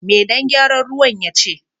Me dan gyaran ruwan ya ce?